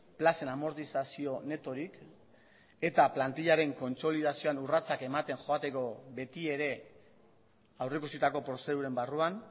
plazen amortizazio netorik eta plantilaren kontsolidazioan urratsak ematen joateko beti ere aurreikusitako prozeduren barruan